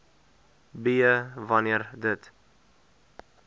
b wanneer dit